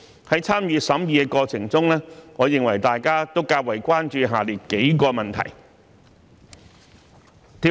在參與審議的過程中，我認為大家都較為關注下列數個問題。